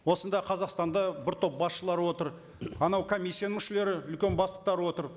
осында қазақстанда бір топ басшылар отыр анау комиссияның мүшелері үлкен бастықтар отыр